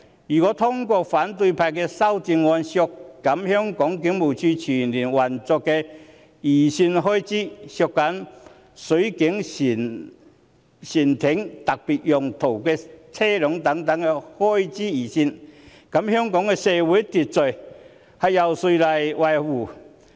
如果通過反對派的修正案，削減警務處全年運作的預算開支，削減水警船艇和特別用途車輛等預算開支，那麼香港的社會秩序由誰來維持？